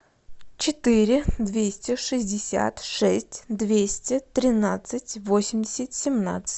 четыре двести шестьдесят шесть двести тринадцать восемьдесят семнадцать